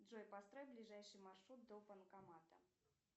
джой построй ближайший маршрут до банкомата